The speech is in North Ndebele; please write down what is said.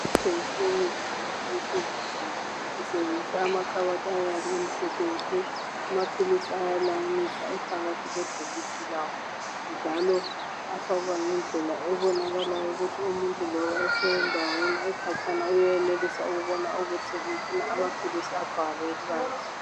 Kuthengiswa imithi lamaphilisi ezigulane. Kusetshenziswa amakhabothi amhlophe nke. Amaphilisi ayalayiniswa ephakathi kwebhokisi lawo njalo afakwa ngendlela ebonakalayo ukuthi umuntu loba ekhatshana uyabona ukuthi ufuna waphi.